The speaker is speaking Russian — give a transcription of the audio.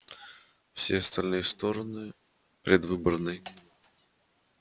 все остальные стороны предвыборной